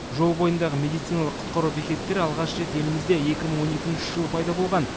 жол бойындағы медициналық құтқару бекеттері алғаш рет елімізде екі мың он екінші жылы пайда болған